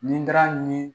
Nindara ni